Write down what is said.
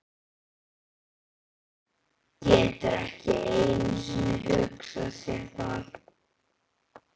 Getur ekki einu sinni hugsað sér það.